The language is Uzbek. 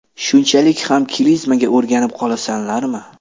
Shunchalik ham klizmaga o‘rganib qolasanlarmi?